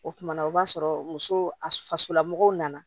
O kumana o b'a sɔrɔ muso a fasolamɔgɔw nana